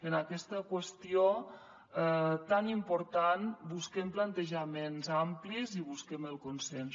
en aquesta qüestió tan important busquem plantejaments amplis i busquem el consens